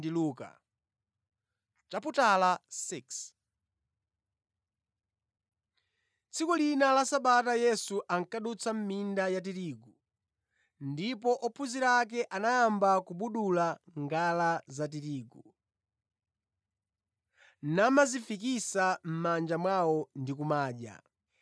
Tsiku lina la Sabata Yesu ankadutsa mʼminda yatirigu, ndipo ophunzira ake anayamba kubudula ngala zatirigu, namazifikisa mʼmanja mwawo ndi kumadya.